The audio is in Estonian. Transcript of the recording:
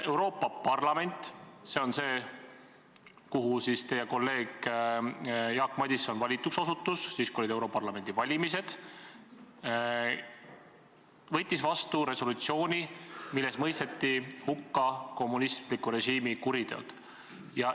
Euroopa Parlament – see on see, kuhu teie kolleeg Jaak Madison valituks osutus, kui olid europarlamendi valimised – võttis vastu resolutsiooni, milles mõisteti hukka kommunistliku režiimi kuriteod.